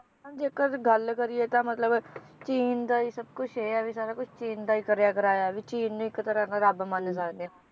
ਜੇਕਰ ਗੱਲ ਕਰੀਏ ਤਾਂ ਮਤਲਬ ਚੀਨ ਦਾ ਈ ਸਬ ਕੁਛ ਇਹ ਹੈ ਵੀ ਸਾਰਾ ਕੁਛ ਚੀਨ ਦਾ ਹੀ ਕਰਿਆ ਕਰਾਇਆ ਵੀ ਚੀਨ ਨੂੰ ਇਕ ਤਰ੍ਹਾਂ ਨਾਲ ਰੱਬ ਮੰਨ ਸਕਦੇ ਹਾਂ